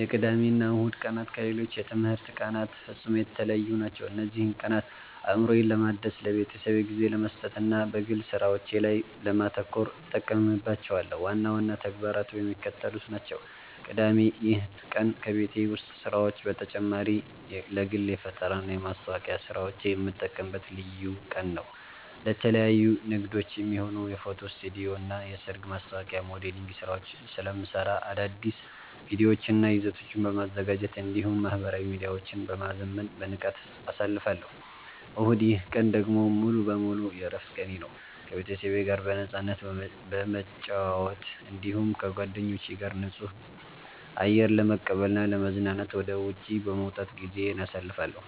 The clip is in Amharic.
የቅዳሜና እሁድ ቀናት ከሌሎች የትምህርት ቀናት ፍጹም የተለዩ ናቸው። እነዚህን ቀናት አእምሮዬን ለማደስ፣ ለቤተሰቤ ጊዜ ለመስጠትና በግል ሥራዎቼ ላይ ለማተኮር እጠቀምባቸዋለሁ። ዋና ዋና ተግባራቱ የሚከተሉት ናቸው፦ ቅዳሜ (የተለየ ተግባር)፦ ይህ ቀን ከቤት ውስጥ ሥራዎች በተጨማሪ ለግል የፈጠራና የማስታወቂያ ሥራዎቼ የምጠቀምበት ልዩ ቀን ነው። ለተለያዩ ንግዶች የሚሆኑ የፎቶ ስቱዲዮና የሰርግ ማስታወቂያ ሞዴሊንግ ሥራዎችን ስለምሠራ፣ አዳዲስ ቪዲዮዎችንና ይዘቶችን በማዘጋጀት እንዲሁም ማኅበራዊ ሚዲያዎቼን በማዘመን በንቃት አሳልፋለሁ። እሁድ፦ ይህ ቀን ደግሞ ሙሉ በሙሉ የዕረፍት ቀኔ ነው። ከቤተሰቤ ጋር በነፃነት በመጨዋወት፣ እንዲሁም ከጓደኞቼ ጋር ንጹህ አየር ለመቀበልና ለመዝናናት ወደ ውጪ በመውጣት ጊዜዬን አሳልፋለሁ።